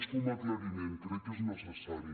és com a aclariment crec que és necessari